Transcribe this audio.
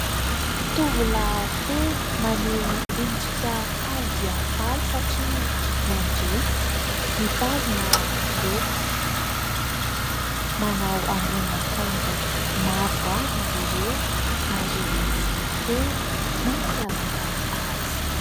tovolahy telo maneho endrika faly dia faly satria nandresy mitazona loka, manao ambonina akanjo mavo avy izy ireo ary misy litera mampiavaka azy.